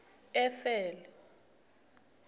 efele